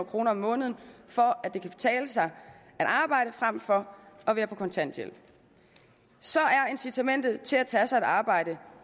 kroner om måneden for at det kan betale sig at arbejde frem for at være på kontanthjælp så er incitamentet til at tage sig et arbejde